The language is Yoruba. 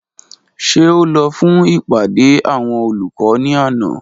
Ṣe o lọ fun ipade awọn olukọ ni ana?